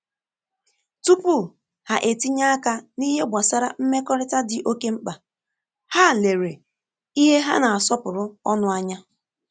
Tupu ha etinye aka n’ìhè gbasàra mmekọrịta dị ókè mkpa, hà lere ìhè hà na-asọpụrụ ọnụ ànyà.